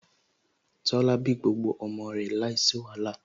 Tola bí gbogbo ọmọ rẹ̀ láìsí wàhálà